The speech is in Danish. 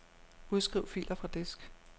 Udskriv filer fra disk.